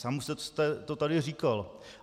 Sám už jste to tady říkal.